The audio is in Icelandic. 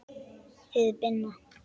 Þið Binna?